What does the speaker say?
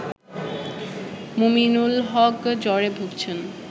মুমিনুল হক জ্বরে ভুগছেন